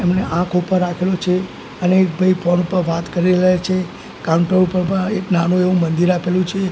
એમણે આંખ ઉપર રાખેલુ છે અને એક ભઇ ફોન પર વાત કરી રેલા છે કાઉન્ટર ઉપર આ એક નાનુ એવુ મંદિર આપેલુ છે.